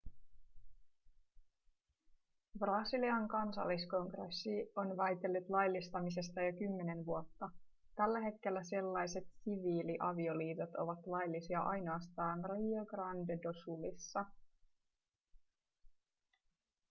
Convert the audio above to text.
brasilian kansalliskongressi on väitellyt laillistamisesta jo kymmenen vuotta tällä hetkellä sellaiset siviiliavioliitot ovat laillisia ainoastaan rio grande do sulissa